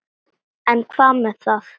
En hvað með það?